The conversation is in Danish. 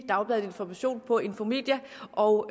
dagbladet information på infomedia og